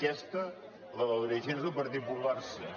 aquesta la de dirigents del partit popular sí